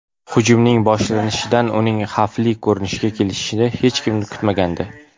Hujumning boshlanishidan uning xavfli ko‘rinishga kelishini hech kim kutmagandi.